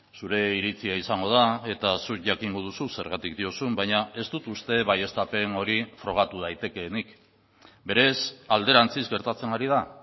zure iritzia izango da eta zuk jakingo duzu zergatik diozun baina ez dut uste baieztapen hori frogatu daitekeenik berez alderantziz gertatzen ari da